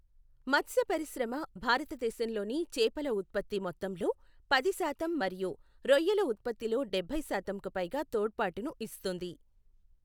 మత్స్యపరిశ్రమ భారతదేశంలోని చేపల ఉత్పత్తి మొత్తంలో పది శాతం మరియు రొయ్యల ఉత్పత్తిలో డబ్బై శాతంకు పైగా తోడ్పాటుని ఇస్తుంది.